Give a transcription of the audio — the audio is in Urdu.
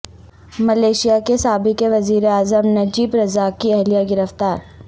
ملائیشیا کے سابق وزیر اعظم نجیب رزاق کی اہلیہ گرفتار